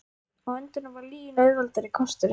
Á endanum var lygin auðveldari kosturinn.